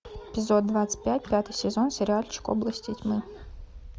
эпизод двадцать пять пятый сезон сериальчик области тьмы